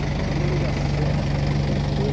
Então, a delegação que que foi